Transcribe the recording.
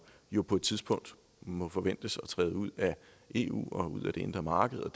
jo på et tidspunkt må forventes at træde ud af eu og ud af det indre marked og